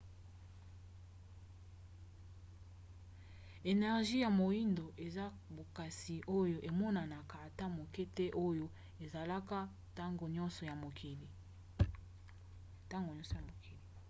energie ya moindo eza bokasi oyo emonanaka ata moke te oyo esalaka ntango nyonso na mokili